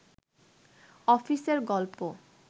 অফিসের গল্প